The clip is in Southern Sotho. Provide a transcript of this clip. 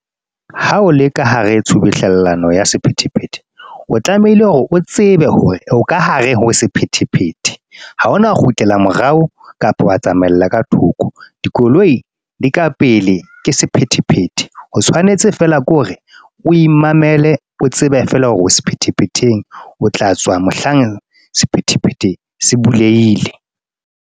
Ha o le ka hare tsubuhlellano ya sephethephethe, o tlamehile hore o tsebe hore o ka hare ho sephethephethe. Haona kgutlela morao kapa wa tsamaella ka thoko. Dikoloi di ka pele ke sephethephethe, o tshwanetse feela ke hore o imamele o tsebe feela hore o sephethephetheng, o tla tswa mohlang sephethephethe se buleile.